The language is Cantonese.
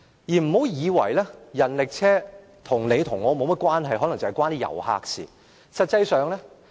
不要以為人力車與你跟我沒有甚麼關係，可能只與遊客有關。